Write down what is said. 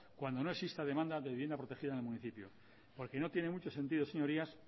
cuando no exista demanda de vivienda protegida en el municipio porque no tiene mucho sentido señorías